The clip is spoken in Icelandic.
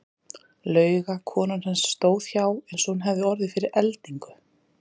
Lauga konan hans stóð hjá eins og hún hefði orðið fyrir eldingu.